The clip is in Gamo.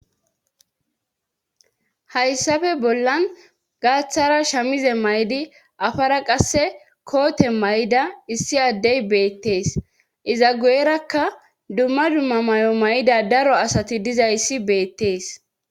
Hayssafe bollan gaaththara shamize maydi afara qasse koote may'da issi addey beettees iza guyerakka dumma dumma may'o may'ida daro asati dizayssi beettees